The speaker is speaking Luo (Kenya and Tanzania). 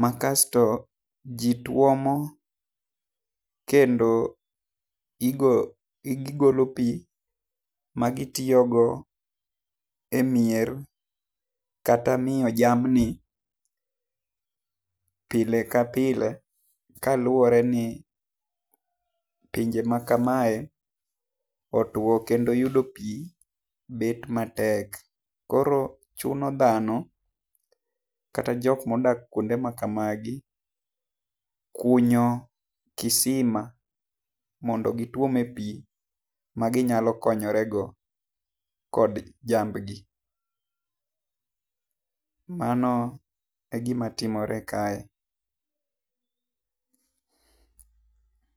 ma kasto ji twomo, kendo igolo pi ma itiyo go e mier kata miyo jamni pile ka pile kaluore ni pinje ma kama e otwo kendo yudo pi bet ma tek. Koro chuno dhano kat jok ma odak kuonde ma kama gi kunyo kisima mondo gi twome pi ma gi nyalo konyore go kod jamb gi. Mano e gi ma timore kae.